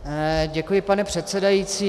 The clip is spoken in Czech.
Děkuji, pane předsedající.